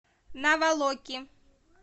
наволоки